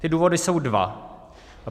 Ty důvody jsou dva.